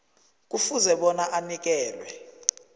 kufuze bona anikelwe